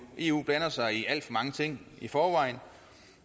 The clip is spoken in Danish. eu blander sig i alt for mange ting i forvejen